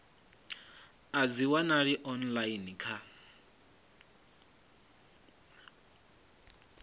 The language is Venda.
a dzi wanalei online kha